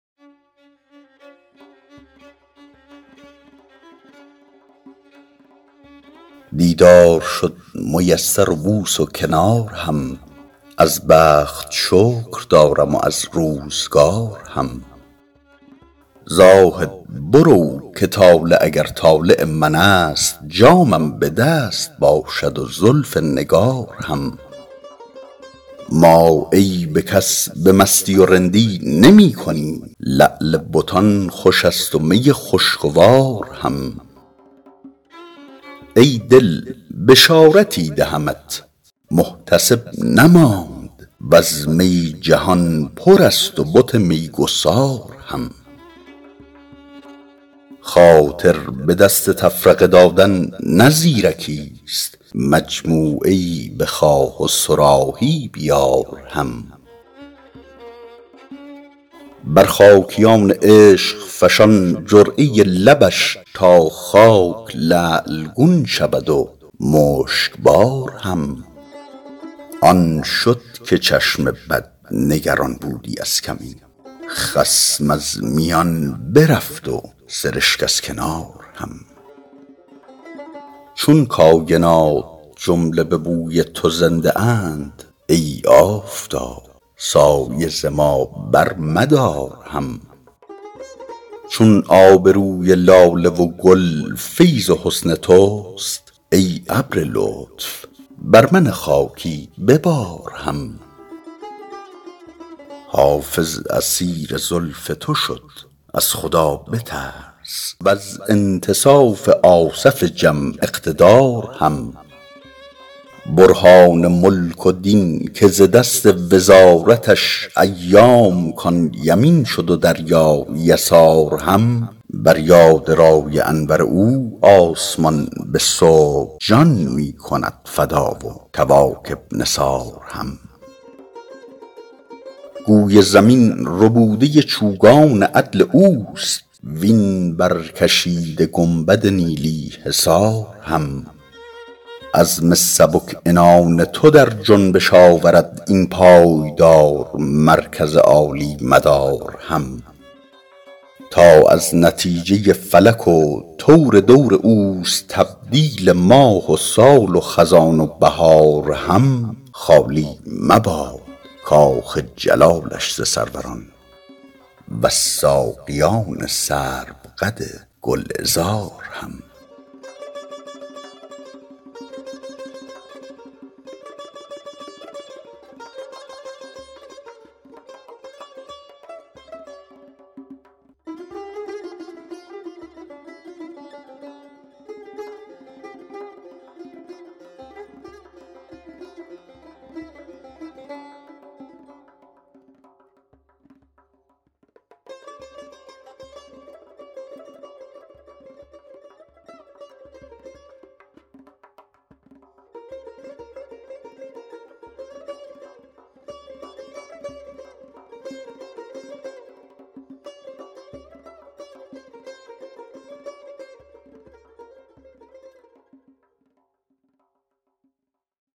دیدار شد میسر و بوس و کنار هم از بخت شکر دارم و از روزگار هم زاهد برو که طالع اگر طالع من است جامم به دست باشد و زلف نگار هم ما عیب کس به مستی و رندی نمی کنیم لعل بتان خوش است و می خوشگوار هم ای دل بشارتی دهمت محتسب نماند و از می جهان پر است و بت میگسار هم خاطر به دست تفرقه دادن نه زیرکیست مجموعه ای بخواه و صراحی بیار هم بر خاکیان عشق فشان جرعه لبش تا خاک لعل گون شود و مشکبار هم آن شد که چشم بد نگران بودی از کمین خصم از میان برفت و سرشک از کنار هم چون کاینات جمله به بوی تو زنده اند ای آفتاب سایه ز ما برمدار هم چون آب روی لاله و گل فیض حسن توست ای ابر لطف بر من خاکی ببار هم حافظ اسیر زلف تو شد از خدا بترس و از انتصاف آصف جم اقتدار هم برهان ملک و دین که ز دست وزارتش ایام کان یمین شد و دریا یسار هم بر یاد رای انور او آسمان به صبح جان می کند فدا و کواکب نثار هم گوی زمین ربوده چوگان عدل اوست وین برکشیده گنبد نیلی حصار هم عزم سبک عنان تو در جنبش آورد این پایدار مرکز عالی مدار هم تا از نتیجه فلک و طور دور اوست تبدیل ماه و سال و خزان و بهار هم خالی مباد کاخ جلالش ز سروران و از ساقیان سروقد گلعذار هم